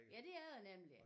Ja det er det nemlig